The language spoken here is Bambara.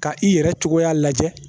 Ka i yɛrɛ cogoya lajɛ